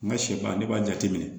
N ka sɛ ban ne b'a jateminɛ